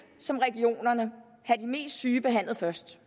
som regionerne have de mest syge behandlet først